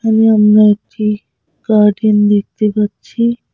আমি অন্য একটি গার্ডেন দেখতে পাচ্ছি।